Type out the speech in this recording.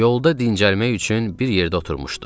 Yolda dincəlmək üçün bir yerdə oturmuşduq.